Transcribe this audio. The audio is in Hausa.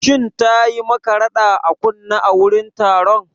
Shin tayi maka rada a kunne a wurin taron?